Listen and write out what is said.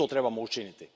I to trebamo učiniti.